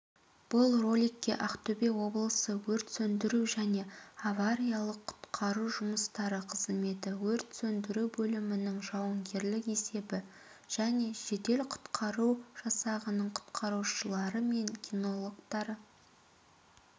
бұл роликке ақтөбе облысы өрт сөндіру және авариялық-құтқару жұмыстары қызметі өрт сөндіру бөлімінің жауынгерлік есебі және жедел-құтқару жасағының құтқарушылары мен кинологтары